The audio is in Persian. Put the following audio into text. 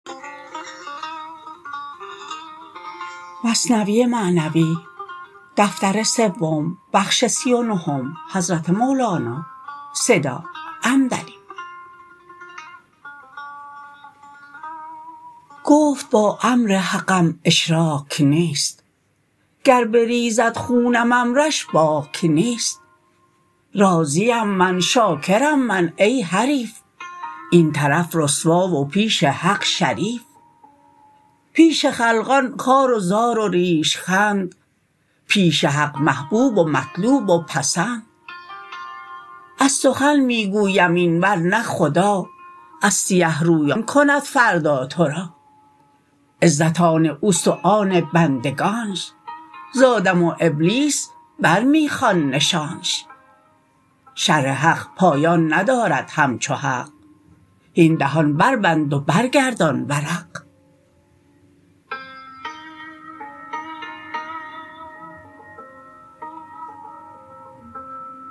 گفت با امر حقم اشراک نیست گر بریزد خونم امرش باک نیست راضیم من شاکرم من ای حریف این طرف رسوا و پیش حق شریف پیش خلقان خوار و زار و ریش خند پیش حق محبوب و مطلوب و پسند از سخن می گویم این ورنه خدا از سیه رویان کند فردا تو را عزت آن اوست و آن بندگانش ز آدم و ابلیس بر می خوان نشانش شرح حق پایان ندارد همچو حق هین دهان بربند و برگردان ورق